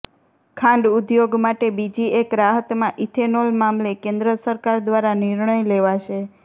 ખાંડ ઉદ્યોગ માટે બીજી એક રાહતમાં ઈથેનોલ મામલે કેન્દ્ર સરકાર દ્વારા નિર્ણય લેવાશે